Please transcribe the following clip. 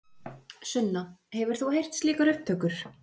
Sunna: Hefur þú heyrt slíkar upptökur?